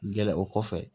Gɛlɛn o kɔfɛ